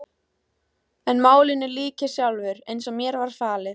En málinu lýk ég sjálfur, eins og mér var falið.